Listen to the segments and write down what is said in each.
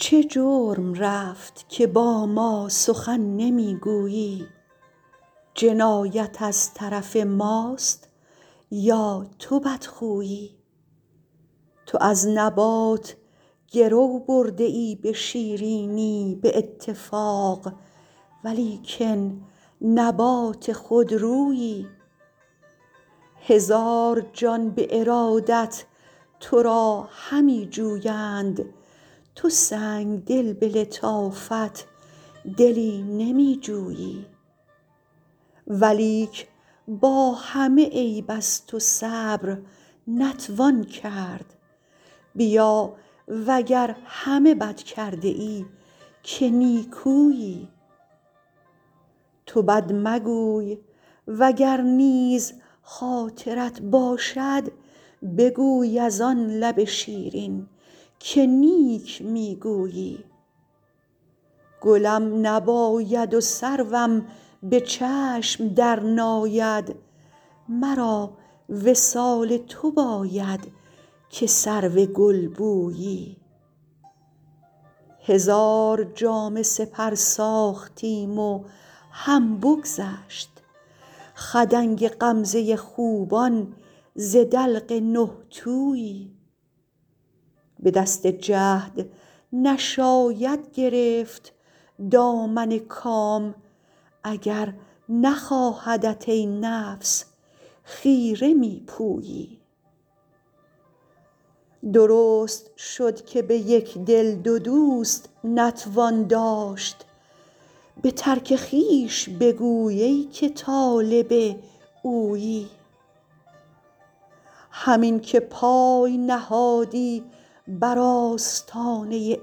چه جرم رفت که با ما سخن نمی گویی جنایت از طرف ماست یا تو بدخویی تو از نبات گرو برده ای به شیرینی به اتفاق ولیکن نبات خودرویی هزار جان به ارادت تو را همی جویند تو سنگدل به لطافت دلی نمی جویی ولیک با همه عیب از تو صبر نتوان کرد بیا و گر همه بد کرده ای که نیکویی تو بد مگوی و گر نیز خاطرت باشد بگوی از آن لب شیرین که نیک می گویی گلم نباید و سروم به چشم درناید مرا وصال تو باید که سرو گلبویی هزار جامه سپر ساختیم و هم بگذشت خدنگ غمزه خوبان ز دلق نه تویی به دست جهد نشاید گرفت دامن کام اگر نخواهدت ای نفس خیره می پویی درست شد که به یک دل دو دوست نتوان داشت به ترک خویش بگوی ای که طالب اویی همین که پای نهادی بر آستانه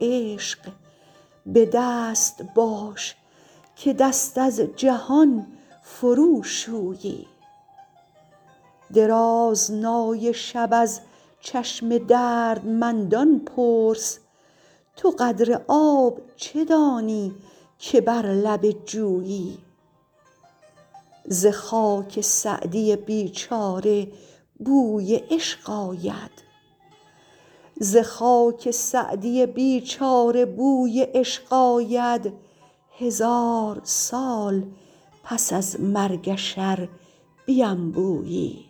عشق به دست باش که دست از جهان فروشویی درازنای شب از چشم دردمندان پرس تو قدر آب چه دانی که بر لب جویی ز خاک سعدی بیچاره بوی عشق آید هزار سال پس از مرگش ار بینبویی